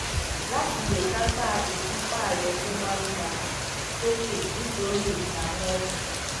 láti lè kápá ìfúnpá rè tó máa ń ga sókè nítorí ìdààmú ọkàn